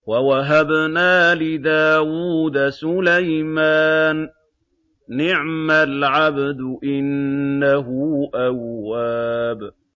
وَوَهَبْنَا لِدَاوُودَ سُلَيْمَانَ ۚ نِعْمَ الْعَبْدُ ۖ إِنَّهُ أَوَّابٌ